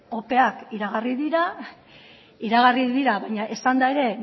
opeak iragarri dira iragarri dira baina esanda ere